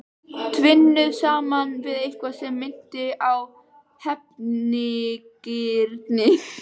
Tvinnuð saman við eitthvað sem minnti á hefnigirni.